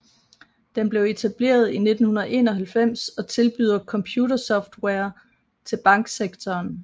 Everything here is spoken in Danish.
Den blev etableret i 1991 og tilbyder computersoftware til banksektoren